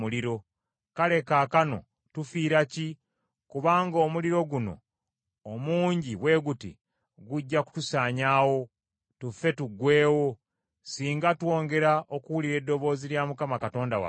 Kale, kaakano tufiira ki? Kubanga omuliro guno omungi bwe guti gujja kutusaanyaawo, tufe tuggweewo, singa twongera okuwulira eddoboozi lya Mukama Katonda waffe.